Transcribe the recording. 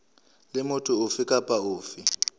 le motho ofe kapa ofe